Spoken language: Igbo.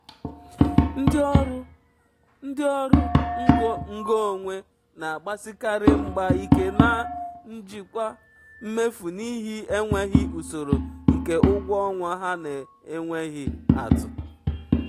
um ndị ọrụ um ndị ọrụ um ngo onwe na-agbasikarị mgba ike na njikwa um mmefu n'ihi enweghị usoro nke ụgwọ ọnwa ha na-enweghị atụ.